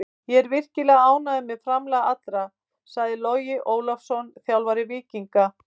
Ég er virkilega ánægður með framlag allra, sagði Logi Ólafsson, þjálfari Víkinga.